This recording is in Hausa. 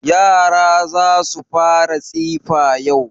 Yara za su fara tsifa yau.